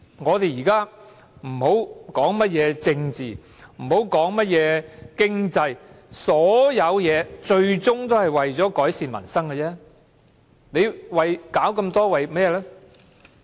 我們現在不要談甚麼政治和經濟，所有事情最終也是為了改善民生而已。